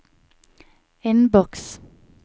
innboks